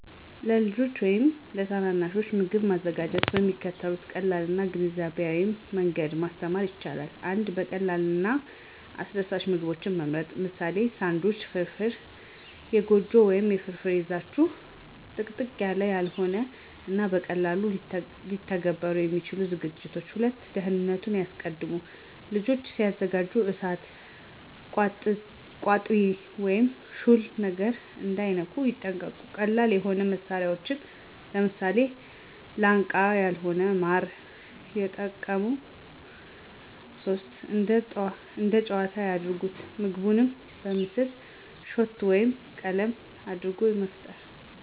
ለልጆች ወይም ታናናሾች ምግብ ማዘጋጀትን በሚከተሉት ቀላል እና ግንዛቤያም መንገዶች ማስተማር ይቻላል። 1. ቀላል እና አስደሳች ምግቦችን ይምረጡ - ለምሳሌ፦ ሳንድዊች፣ ፍራፍራ፣ የጎጆ ወይም ፍርፍር ይዛችሁ። - ጥቅጥቅ ያላው ያልሆኑ እና በቀላሉ ሊተገበሩ የሚችሉ ዝግጅቶች። **2. ደህንነቱን ያስቀድሙ** - ልጆች ሲያዘጋጁ እሳት፣ ቋጥሪ ወይም ሹል ነገሮችን እንዳይነኩ ይጠንቀቁ። - ቀላል የሆኑ መሳሪያዎችን (ለምሳሌ፦ ላንቃ ያልሆነ ማር) የጠቀሙ። *3. እንደ ጨዋታ ያድርጉት** - ምግቡን በምስል፣ ሾት ወይም ቀለም አድርጎ መፍጠሩ